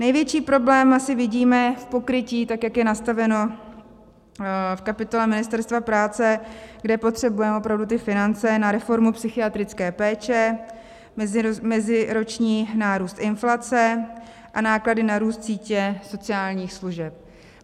Největší problém asi vidíme v pokrytí, tak jak je nastaveno v kapitole Ministerstva práce, kde potřebujeme opravdu ty finance na reformu psychiatrické péče, meziroční nárůst inflace a náklady na růst sítě sociálních služeb.